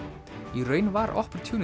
í raun var